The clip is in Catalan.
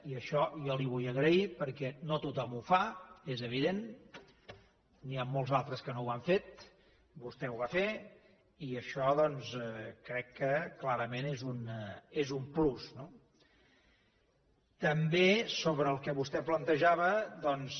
i això jo li ho vull agrair perquè no tothom ho fa és evident n’hi ha molts altres que no ho han fet vostè ho va fer i això doncs crec que clarament és un plus no també sobre el que vostè plantejava doncs